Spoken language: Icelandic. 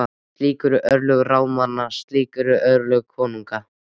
Slík eru örlög ráðamanna- slík eru örlög konunga.